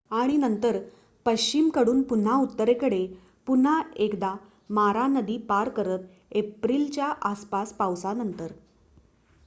आणि नंतर पश्चिमकडून पुन्हा उत्तरेकडे पुन्हा एकदा मारा नदी पार करत एप्रिलच्या आसपास पावसानंतर